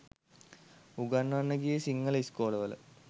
උගන්වන්න ගියේ සිංහල ඉස්කෝලවල